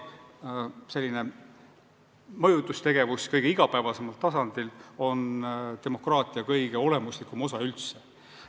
Selline mõjutustegevus kõige igapäevasemal tasandil on demokraatia kõige olemuslikum osa üldse.